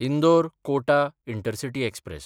इंदोर–कोटा intercity express